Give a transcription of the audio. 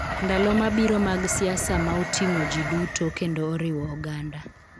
Ndalo mabiro mag siasa ma oting�o ji duto, kendo oriwo oganda.